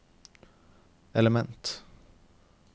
element